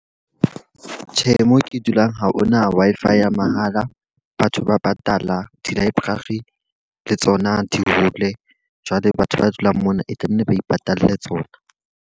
Tjhe, moo ke dulang ha hona Wi-Fi ya mahala. Batho ba patala, di-library le tsona di hole. Jwale batho ba dulang mona e tlamehile ba ipatalle tsona.